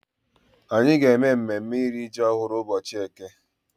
Anyị ga-eme mmemme iri ji ọhụrụ n'ụbọchị eke.